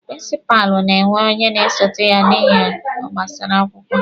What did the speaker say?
Prịnsịpalụ na-enwe onye na-esote ya n'ihe gbasara akwụkwọ.